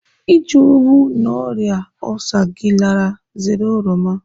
Iji hụụ na ọrịa olsa gị lara, zere oroma.